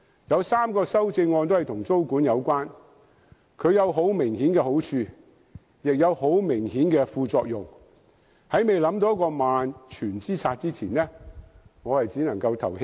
有3項修正案都與租管有關，租管有很明顯好處，亦有明顯副作用，在未想到萬全之策之前，我只能在表決時棄權。